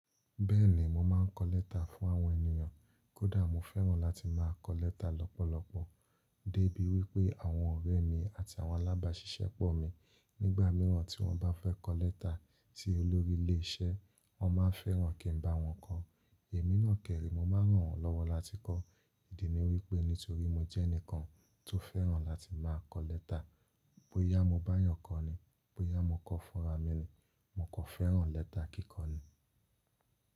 Bẹ́ẹ̀ni mo máa ń kọ lẹ́tà fún àwọn ènìyàn. Kódà, mo fẹ́ràn láti máa kọ lẹ́tà lọ́pọ̀lọpọ̀, débi wípé àwọn ọ̀rẹ́ mi àti àwọn alábàáṣiṣẹ́ pọ̀ mi nígbà mìíràn tí wọ́n bá fẹ́ lọ lẹ́tà sí olórí ilé iṣẹ́, wọ́n máa ń fẹ́ràn kín bá wọ́n kọ. Èmi náà dèrè mo máa ń ràn wọ́n lọ́wọ́ láti kọ. Ìdí ni wípé nítorí mo jẹ́ ẹnìkan tó fẹ́ràn láti máa kọ lẹ́tà. Bóyá mo bá eeyàn kọ ni, bóyá mo kọ fúnra mi ni, mo kàn fẹ́ràn lẹ́tà kíkọ ni.